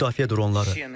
Müdafiə dronları.